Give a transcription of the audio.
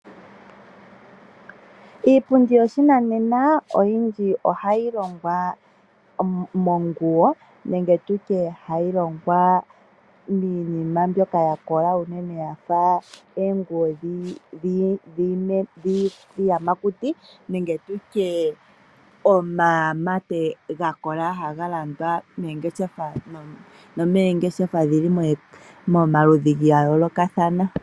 Iipundi yoshinanena oyindji ohayi longwa monguwo nenge tutye hayi longwa miinima mbyoka ya kola unene yafa oonguwo dhiiyamakuti nenge tutye omamate gakola haga landwa moongeshefa, nomoongeshefa dhili momaludhi ga yoolokathana